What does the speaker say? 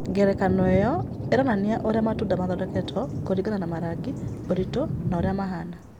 Ngerekano ĩyo ĩronania ũrĩa matunda matondekagwo kũringana na marangi, ũritũ, na ũrĩa mahaana.